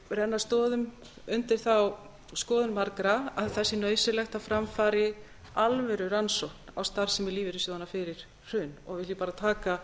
renna stoðum undir þá skoðun margra að það sé nauðsynlegt að fram fari alvöru rannsókn á starfsemi lífeyrissjóðanna fyrir hrun og vil ég bara taka